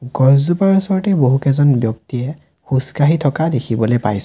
গছজোপাৰ ওচৰতে বহুকেইজন ব্যক্তিয়ে সোজকাঢ়ি থকা দেখিবলৈ পাইছোঁ।